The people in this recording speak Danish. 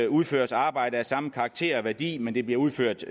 udføres arbejde af samme karakter og værdi men det bliver udført